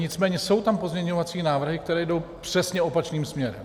Nicméně jsou tam pozměňovací návrhy, které jdou přesně opačným směrem.